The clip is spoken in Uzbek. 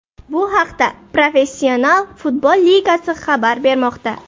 Bu haqda Professional futbol ligasi xabar bermoqda .